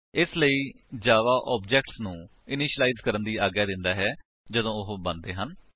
ਇਸ ਲਈ Java objects ਨੂੰ ਇਨਿਸ਼ੀਲਾਇਜ ਕਰਨ ਦੀ ਆਗਿਆ ਦਿੰਦਾ ਹੈ ਜਦੋਂ ਉਹ ਬਣਦੇ ਹਨ